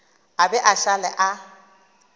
a be a šale a